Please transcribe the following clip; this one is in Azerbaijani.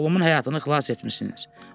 Dünən oğlumun həyatını xilas etmisiniz.